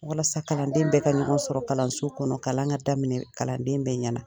Walasa kalanden bɛ ka ɲɔgɔn sɔrɔ kalanso kɔnɔ kalan ka daminɛ kalanden bɛ ɲɛna